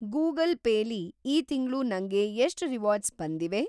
Google pay ಲಿ ಈ ತಿಂಗ್ಳು ನಂಗೆ ಎಷ್ಟ್‌ ರಿವಾರ್ಡ್ಸ್‌ ಬಂದಿವೆ?